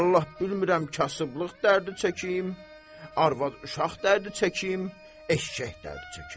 Vallah bilmirəm kasıblıq dərdi çəkim, arvad uşaq dərdi çəkim, eşşək dərdi çəkim.